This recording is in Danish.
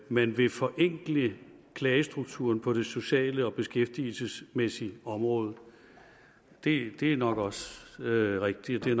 man vil forenkle klagestrukturen på det sociale og beskæftigelsesmæssige område det er nok også rigtigt at